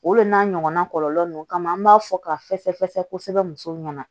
O de n'a ɲɔgɔnna kɔlɔlɔ ninnu kama an b'a fɔ ka fɛsɛfɛsɛ kosɛbɛ kosɛbɛ